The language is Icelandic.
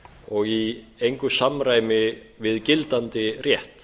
og í engu samræmi við gildandi rétt